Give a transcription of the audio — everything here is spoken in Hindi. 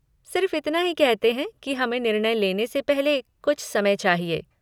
सिर्फ़ इतना ही कहते हैं कि हमें निर्णय लेने से पहले कुछ समय चाहिए।